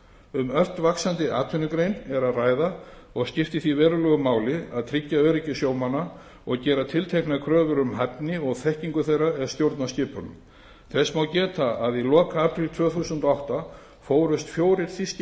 um ört vaxandi atvinnugrein er að ræða og skiptir því verulegu máli að tryggja öryggi sjómanna og gera tilteknar kröfur um hæfni og þekkingu þeirra er stjórna skipunum þess má geta að í lok apríl tvö þúsund og átta fórust fjórir þýskir